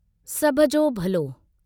सभ जो भलो